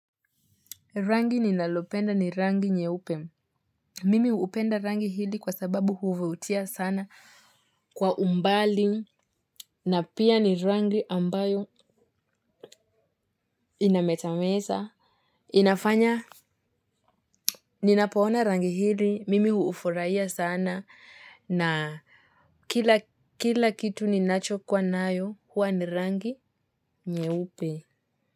Rangi ninalopenda ni rangi nyeupe. Mimi upenda rangi hili kwa sababu huvutia sana kwa umbali na pia ni rangi ambayo inametameta. Inafanya, ninapoona rangi hili, mimi huufraia sana na kila kitu ninacho kwa nayo huwa ni rangi nyeupe.